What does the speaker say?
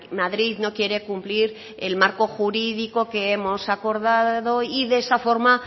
madrid no quiere cumplir el marco jurídico que hemos acordado y de esa forma